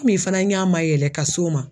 Komi fana n ɲɛ ma yɛlɛ ka s'o ma